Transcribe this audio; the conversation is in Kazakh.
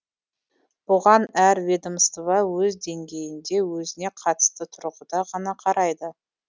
бұған әр ведомство өз деңгейінде өзіне қатысты тұрғыда ғана қарайды